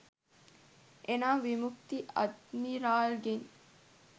එනම් විමුක්ති අද්මිරාල්ගෙන්